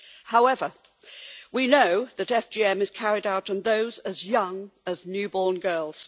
However, we know that FGM is carried out on those as young as new born girls.